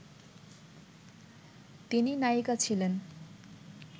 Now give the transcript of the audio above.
তিনি নায়িকা ছিলেন